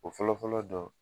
O fɔlɔfɔlɔ dɔn